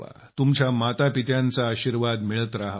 तुमच्या मातापित्यांचा आशीर्वाद मिळत रहावा